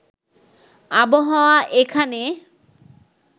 আবহাওয়া এখানে